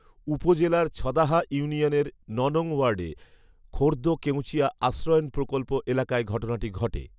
উপজেলার ছদাহা ইউনিয়নের ন নং ওয়ার্ডে খোর্দ্দ কেঁওচিয়া আশ্রয়ণ প্রকল্প এলাকায় ঘটনাটি ঘটে